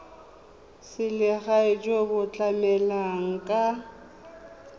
selegae jo bo tlamelang ka